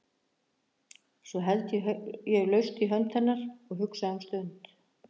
Svo held ég laust í hönd hennar og hugsa um stund.